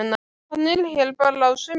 Hann er hérna bara á sumrin.